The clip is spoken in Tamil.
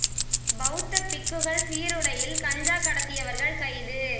பௌத்த பிக்குகள் சீருடையில் கஞ்சா கடத்தியவர்கள் கைது